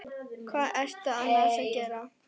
Hvað ertu annars að gera?